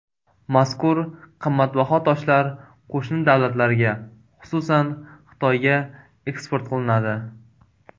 Mazkur qimmatbaho toshlar qo‘shni davlatlarga, xususan, Xitoyga eksport qilinadi.